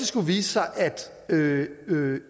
skulle vise sig at